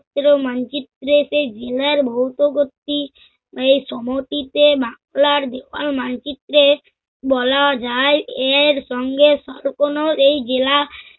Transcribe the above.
সুত্র মানচিত্রে সে জিনের মানচিত্রে বলা যায় এর সঙ্গে স~ কোন এই জেলা